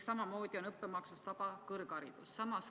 Samamoodi on õppemaksust vaba kõrgharidus.